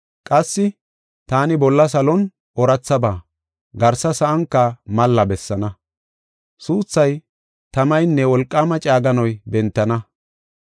Qassi taani bolla salon oorathaba, garsa sa7anka malla bessaana. Suuthay, tamaynne wolqaama caaganay bentana.